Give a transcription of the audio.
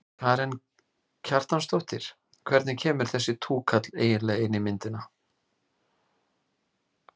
Karen Kjartansdóttir: Hvernig kemur þessi túkall eiginlega inn í myndina?